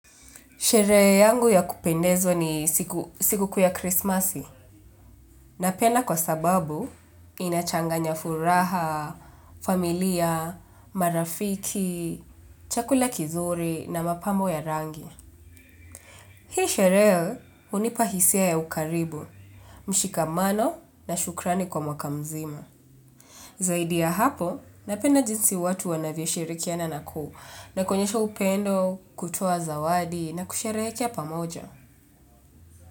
Sherehe yangu ya kupendezwa ni sikukuu ya krismasi. Napena kwa sababu inachanganya furaha, familia, marafiki, chakula kizuri na mapambo ya rangi. Hii sherehe, hunipa hisia ya ukaribu, mshikamano na shukrani kwa mwaka mzima. Zaidi ya hapo, napenda jinsi watu wanavyoshirikiana na kuonyesha upendo, kutua zawadi na kusheherekea pamoja.